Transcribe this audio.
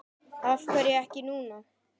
Af hverju ekki núna?